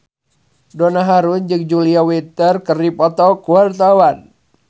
Donna Harun jeung Julia Winter keur dipoto ku wartawan